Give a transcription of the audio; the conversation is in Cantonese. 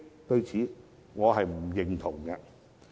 對此，我是不認同的。